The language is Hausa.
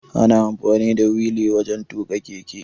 Ana amfani da wili wajan tuƙa keke